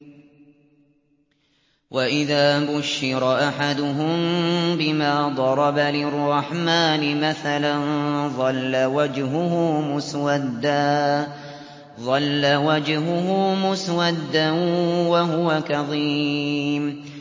وَإِذَا بُشِّرَ أَحَدُهُم بِمَا ضَرَبَ لِلرَّحْمَٰنِ مَثَلًا ظَلَّ وَجْهُهُ مُسْوَدًّا وَهُوَ كَظِيمٌ